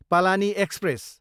Palani express